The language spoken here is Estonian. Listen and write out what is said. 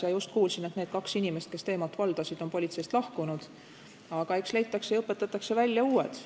Ma just kuulsin, et need kaks inimest, kes teemat valdasid, on politseist lahkunud, aga eks leitakse ja õpetatakse välja uued.